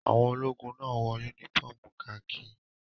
Àwọn ológun náà wọ únífọ́ọ́mù kakí.